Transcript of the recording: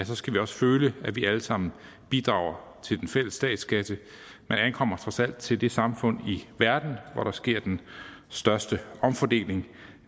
så skal vi også føle at vi alle sammen bidrager til den fælles statskasse man ankommer trods alt til det samfund i verden hvor der sker den største omfordeling